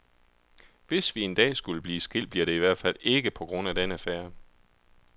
Hvis vi en dag skulle blive skilt, bliver det i hvertfald ikke på grund af den affære.